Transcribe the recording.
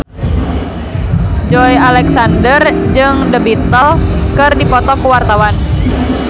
Joey Alexander jeung The Beatles keur dipoto ku wartawan